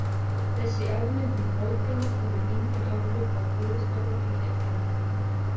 Þessi afmyndun próteina hefur engin áhrif á kólesteról í egginu.